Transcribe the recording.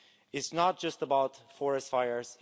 It's not just about forest fires